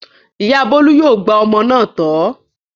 Ìyá Bólú yóò gba òmìnira náà tọ̀ ọ́.